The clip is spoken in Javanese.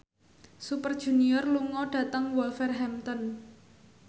Super Junior lunga dhateng Wolverhampton